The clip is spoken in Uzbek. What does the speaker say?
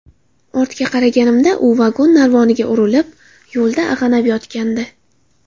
Ortga qaraganimda u vagon narvoniga urilib, yo‘lda ag‘anab yotgandi.